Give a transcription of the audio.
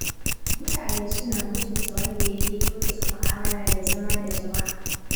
Mutane suna mutunta wanda ya iya kyautata mu'amala da zama da jama'a.